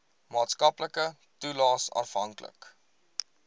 maatskaplike toelaes afhanklik